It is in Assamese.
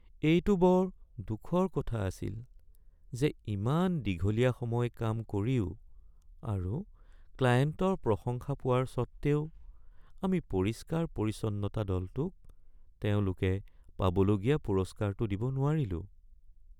এইটো বৰ দুখৰ কথা আছিল যে ইমান দীঘলীয়া সময় কাম কৰিও আৰু ক্লায়েণ্টৰ প্ৰশংসা পোৱাৰ স্বত্ত্বেও আমি পৰিষ্কাৰ-পৰিচ্ছন্নতা দলটোক তেওঁলোকে পাবলগীয়া পুৰস্কাৰটো দিব নোৱাৰিলোঁ।